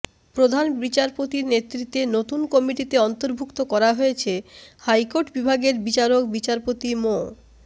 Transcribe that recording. প্রধান বিচারপতির নেতৃত্বে নতুন কমিটিতে অন্তর্ভুক্ত করা হয়েছে হাইকোর্ট বিভাগের বিচারক বিচারপতি মো